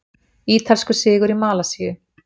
Ítalskur sigur í Malasíu